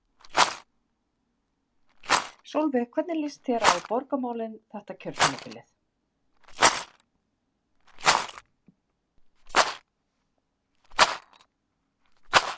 Sólveig: Hvernig líst þér á borgarmálin þetta kjörtímabilið?